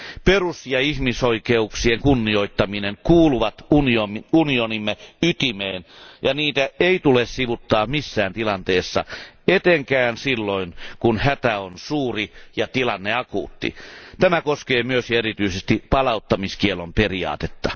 Perus ja ihmisoikeuksien kunnioittaminen kuuluvat unionimme ytimeen, ja niitä ei tule sivuuttaa missään tilanteessa, etenkään silloin kun hätä on suuri ja tilanne akuutti. Tämä koskee myös, ja erityisesti, palauttamiskiellon periaatetta.